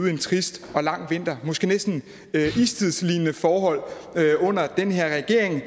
en trist og lang vinter måske næsten istidslignende forhold under den her regering